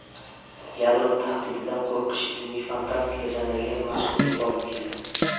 Yadro tahdididan qo‘rqish ilmiy fantastika janriga mashhurlik olib keldi.